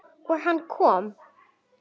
Og hann kom.